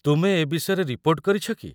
ତୁମେ ଏ ବିଷୟରେ ରିପୋର୍ଟ କରିଛ କି?